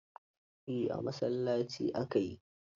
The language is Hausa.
Eh, a masallaci aka yi.